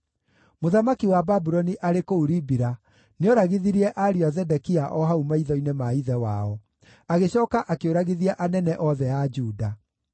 Mũthamaki wa Babuloni arĩ kũu Ribila nĩoragithirie ariũ a Zedekia o hau maitho-inĩ ma ithe wao; agĩcooka akĩũragithia anene othe a Juda.